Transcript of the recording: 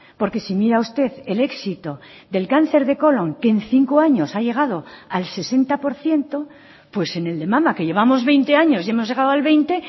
porque si mira usted el éxito del cáncer de colón que en cinco años ha llegado al sesenta por ciento pues en el de mama que llevamos veinte años y hemos llegado al veinte